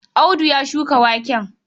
Audu ya shuka waken?